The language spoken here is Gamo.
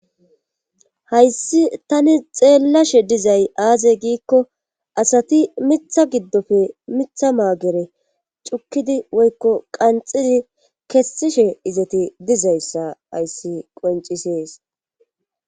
hayssi tani xeellashe dizay aaze giikko asati mitha giddofe mitha maagere cukkidi woykko qanxidi kessishe izati dizayssa hayssi qoncisees